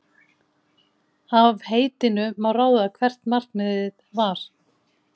Af heitinu má ráða hvert markmiðið var.